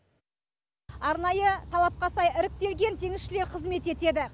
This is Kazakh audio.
арнайы талапқа сай іріктелген теңізшілер қызмет етеді